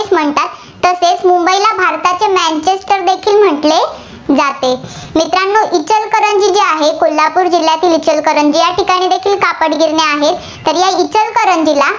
म्हटले जाते. मित्रांनो इचलकरंजी जे आहे, कोल्हापूर जिल्ह्यातील इचलकरंजी या ठिकाणी देखील कापडगिरण्या आहेत. तरी इचलकरंजीला